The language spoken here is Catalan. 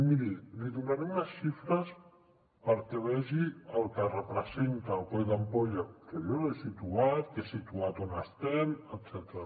miri li donaré unes xifres perquè vegi el que representa el coll d’ampolla que jo l’he situat he situat on estem etcètera